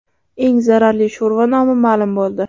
Eng zararli sho‘rva nomi ma’lum bo‘ldi.